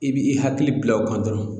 I bi i hakili bila o kan dɔrɔn